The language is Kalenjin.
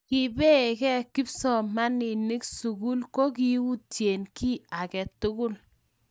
kibeeka kipsomaninik sukul ko kiyutie kiy age tul